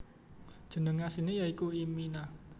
Jeneng asliné ya iku imina